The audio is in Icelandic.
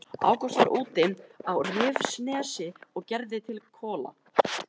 Ágúst var úti á Rifsnesi og gerði til kola.